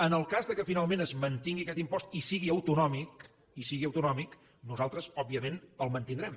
en el cas que finalment es mantingui aquest impost i sigui autonòmic i sigui autonòmic nosaltres òbviament el mantindrem